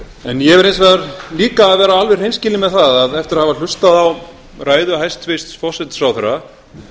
en ég verð hins vegar að vera alveg hreinskilinn með það að eftir að hafa hlustað á ræðu hæstvirts forsætisráðherra